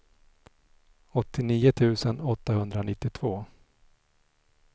åttionio tusen åttahundranittiotvå